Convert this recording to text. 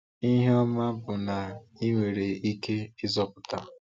Ihe ọma bụ na i nwere ike ịzọpụta.